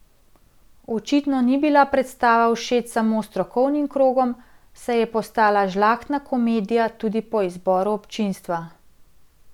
Očitno ni bila predstava všeč samo strokovnim krogom, saj je postala Žlahtna komedija tudi po izboru občinstva.